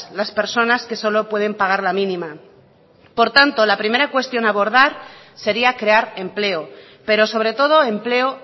las personas que solo pueden pagar la mínima por tanto la primera cuestión a abordar sería crear empleo pero sobre todo empleo